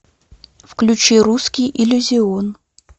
включи русский иллюзион